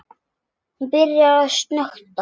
Hún byrjar að snökta.